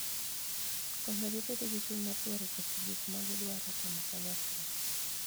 Konyogi bedo gi chuny mar dwaro chopo gik ma gidwaro timo kanyachiel.